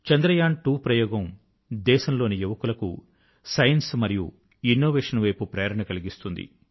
చంద్రయాన్2 ప్రయోగం దేశంలోని యువకులకు సైన్స్ మరియు ఇనవేశన్ వైపు ప్రేరణ కలిగిస్తుంది